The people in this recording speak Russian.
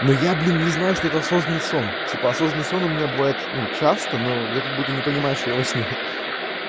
но я блин не знаю что это осознанный сон типа осознанный сон у меня бывает ну часто но я как будто не понимаешь я во сне